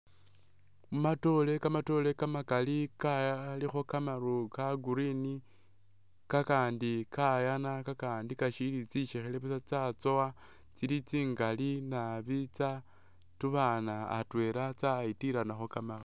Mumatoore kamatoore kamakali kalikho kamaru ka green kakandi kayana kakandi kashili tsisekhele busa tsatsowa tsili tsingali nabi tsa tubana atwela tsayitilanakho Kamari.